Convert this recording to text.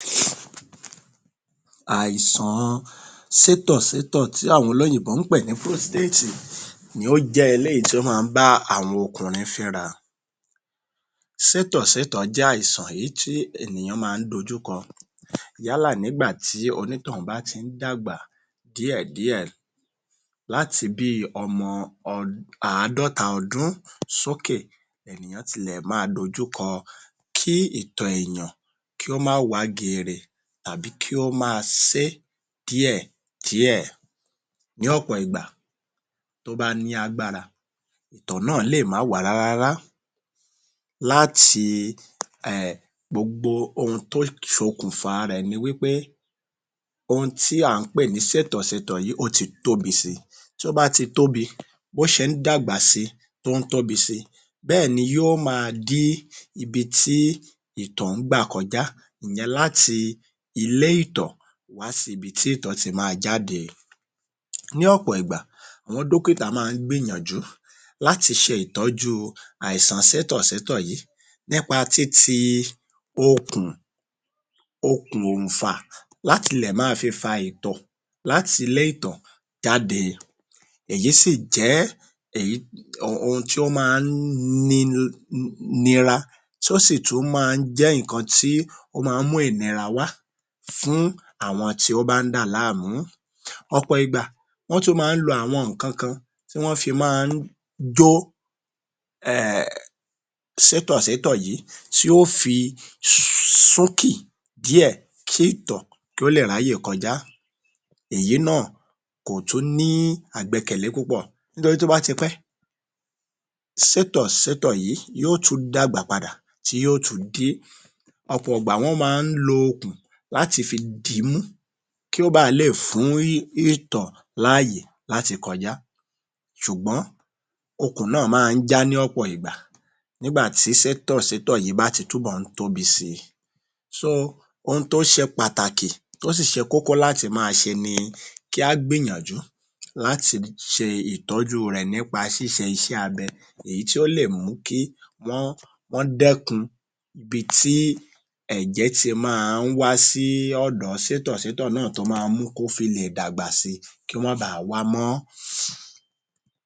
Àìsàn-an sétọ̀-sétọ̀ tí àwọn olóyìnbó ń pè ní ‘’Prostéètì’’ ni ó jẹ́ léyìí tí o ma ń bá àwọn okùnrin fínra. Sétò-sétọ̀ jẹ́ àìsàn èyí tí èniyàn ma ń dojúkọ yálà nígbà tí onítọ̀ún bá ti ń dàgbà díẹ̀ díẹ̀ láti bí i ọmọ àádọ́ta ọdún sókẹ̀ ni ènìyàn ti lè máa dojú kọ kí ìtò èèyàn kí ó má wá geere tàbí kí ó máa sé díẹ̀ díẹ̀. Ní ọ̀pọ̀ ìgbà tí ó bá ní agbára ìtọ̀ náà lè má wá rárá rárá lái gbogbo ohun tó ṣokùnfa rẹ̀ ni wí pé ohun tí à ń pè ní sétọ̀-setọ̀ yìí ó ti tóbi si, bí ó bá ṣe ń dàgbà si tó ń tóbi si bẹ́ẹ̀ ni yó ma dí ibi tí ìtọ̀ ń gbà kọjá ìyẹn láti ilé ìtọ̀ lọ sí ibi tí ìtọ̀ ti máa jáde. Ní ọ̀pọ̀ ìgbà àwọn dọ́kítà ma ń gbìyànjú láti ṣe ìtọ́jú àìsan sétọ̀-sétọ̀ yí nípa títi okùn..okùn òǹfà láti lè ma fi fa ìtọ̀ láti ilé ìtọ̀ jáde. Èyí sì jẹ́ èyí...ohun tí ó ma ń ni...nira tí ó sì tún jẹ́ ohun tí ó ma ń mú ìnira wá fún àwọn tí ó ba ń dà láàmú. Ọ̀pọ̀ ìgbà wọ́n tún ma ń lo àwọn ǹkankan tí wón ó fi jó sétọ̀-sétọ̀ yìí tí yó fi súnkì díẹ̀ kí ìtọ̀ kí ó lè ráyè kọjá. Èyí náà kò tún ní àgbẹkẹ̀lé púpọ̀ nítorí tó bá ti pẹ́ sétọ̀-sétọ̀ yí yó tún dàgbà padà tí yó tún dí. Ọ̀pọ̀ ìgbà wọ́n ma ń lo okùn láti fi dìímú kí ó ba à lè fún ìtọ̀ láàyè láti kọjá, ṣùgbọ́n okùn náà ma ń já ní ọ̀pò ìgbà nígbà tí sétọ̀-sétọ̀ yí bá ti túbọ̀ ń tóbi si. So ohun tó ṣe pàtàkì tó sì ṣe kókó láti ma ṣe ni kí á gbìyànjú láti ṣe ìtọ́jú rẹ̀ nípa ṣiṣe iṣẹ́ abẹ èyí tí ó lè mú kí wọ́n dẹ́kun ibí ẹ̀jẹ̀ ti máa ń wá sí ọ̀dọ̀ sétọ̀-sétọ̀ náà tó ma mú kó fi lè dàgbà si kí ó má ba à á wá mó.